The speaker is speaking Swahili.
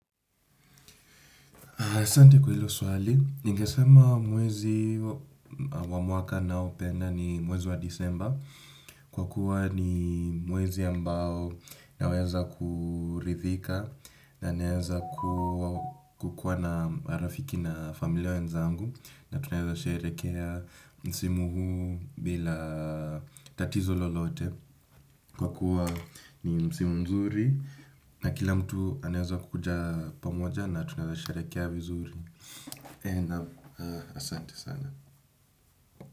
Asante kwa hilo swali, ningesema mwezi wa mwaka nao penda ni mwezi wa Disemba. Kwa kuwa ni mwezi ambao naweza kuridhika. Naweza kukuwa na rafiki na familia wenzangu na tunaeza sherehekea msimu huu bila tatizo lolote kwa kuwa ni msimu mzuri na kila mtu anaweza kukuja pamoja na tunaweza sherehekea vizuri na asante sana.